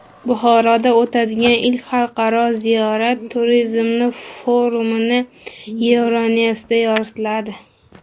Buxoroda o‘tadigan ilk xalqaro ziyorat turizmi forumi Euronews’da yoritiladi.